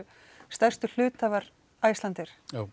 stærstu hluthafar Icelandair